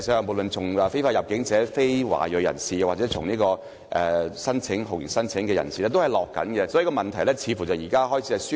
無論是非法入境者、非華裔人士或酷刑聲請者，數字均呈下降趨勢，問題似乎輕微得到紓緩。